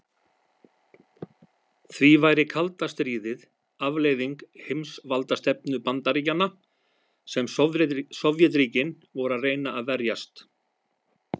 Því væri kalda stríðið afleiðing heimsvaldastefnu Bandaríkjanna, sem Sovétríkin voru að reyna að verjast.